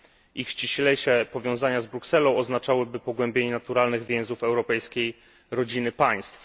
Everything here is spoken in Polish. Ich ściślejsze powiązania z Brukselą oznaczałyby pogłębienie naturalnych więzów europejskiej rodziny państw.